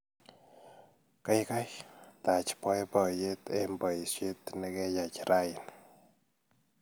Gaigai, taach boiboiyet eng borset nikeyai raini